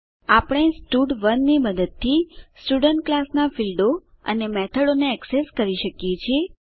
આપણે સ્ટડ1 ની મદદથી સ્ટુડન્ટ ક્લાસ નાં ફીલ્ડો અને મેથડો ને એક્સેસ કરી શકીએ છીએ